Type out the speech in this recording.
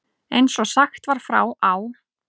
Eins og sagt var frá á